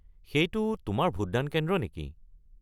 সেইটো তোমাৰ ভোটদান কেন্দ্ৰ নেকি?